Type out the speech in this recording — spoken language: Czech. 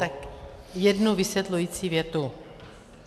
Tak jednu vysvětlující větu.